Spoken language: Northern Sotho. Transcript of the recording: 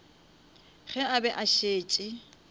ge a be a šetše